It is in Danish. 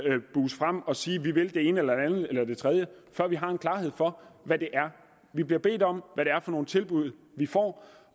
at buse frem at sige at vi vil det ene eller det andet eller tredje før vi har en klarhed for hvad det er vi bliver bedt om hvad det er for nogle tilbud vi får